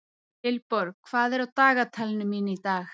Vilborg, hvað er á dagatalinu mínu í dag?